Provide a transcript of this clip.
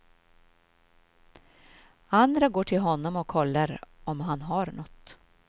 Andra går till honom och kollar om han har nåt.